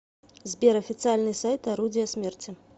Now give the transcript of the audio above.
сбер официальный сайт орудия смерти